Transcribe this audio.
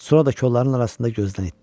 Sonra da kolların arasında gözdən itdi.